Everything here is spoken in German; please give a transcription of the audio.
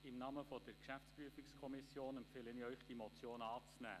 Im Namen der GPK empfehle ich Ihnen, diese Motion anzunehmen.